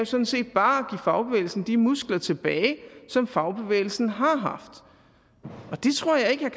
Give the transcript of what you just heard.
sådan set bare at give fagbevægelsen de muskler tilbage som fagbevægelsen har haft det tror jeg ikke er